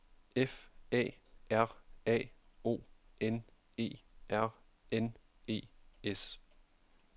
F A R A O N E R N E S